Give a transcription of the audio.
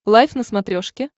лайф на смотрешке